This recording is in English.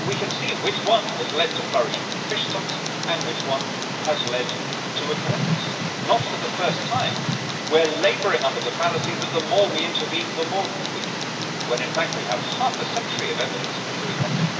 We can see which one has led to flourishing fish stocks and which one has led to a collapse. Not for the first time we are labouring under the fallacy that the more we intervene, the more good we do, when in fact we have half a century of evidence to the contrary.